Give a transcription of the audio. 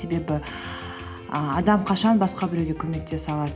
себебі ііі адам қашан басқа біреуге көмектесе алады